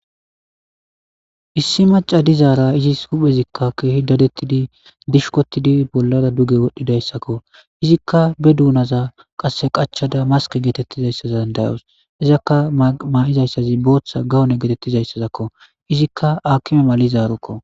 Issi maca dizaara izis huphezikka keehi dadettidi dishkotidi bollara duge wodhdhidayssakko izikka be duunaza qasse qachada maske geetettizayssazan dayos izakka maa'izayssazi booththa gawone geetettizayssazakko izikka akkime mali zaarukko.